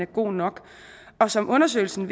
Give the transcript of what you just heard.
god nok og som undersøgelsen